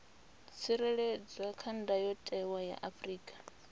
tsireledzwa kha ndayotewa ya afrika